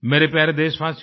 मेरे प्यारे देशवासियों